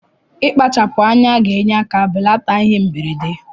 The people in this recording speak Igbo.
Ikpachapu anya ga enye aka belata ihe mberede.